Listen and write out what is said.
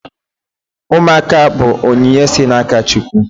Ụmụaka bụ onyinye si n'aka Chukwu.